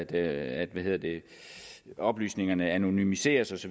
at oplysningerne anonymiseres